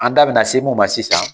An da be na se mu ma sisan